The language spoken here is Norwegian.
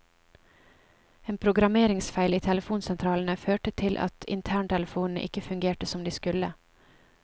En programmeringsfeil i telefonsentralene førte til at interntelefonene ikke fungerte som de skulle.